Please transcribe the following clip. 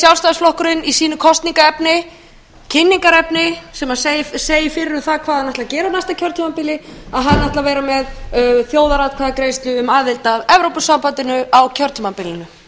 sjálfstæðisflokkurinn í sínu kosningaefni kynningarefni sem segir fyrir um það hvað hann ætli að gera á næsta kjörtímabili að hann ætli að vera með þjóðaratkvæðagreiðslu um aðild að evrópusambandinu á kjörtímabilinu